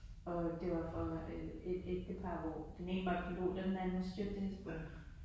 Og øh det var for øh et ægtepar hvor den ene var pilot og den anden stewardesse